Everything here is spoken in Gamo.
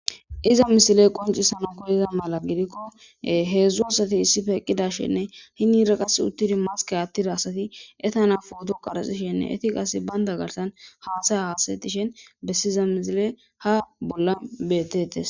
iza misile qoncisano koyiza mala gidikko heedzdzu asati issife eqqidashenne hinira qas uttidi maske attira asati etana pooto qarxishenne etiqas baynda garsan haathaya haasatishen bessiza misile ha bolla betetes